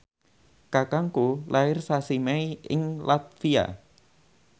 kakangku lair sasi Mei ing latvia